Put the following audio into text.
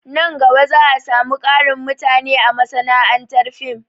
Nan gaba za a samu ƙarin mutane a masana'antar fim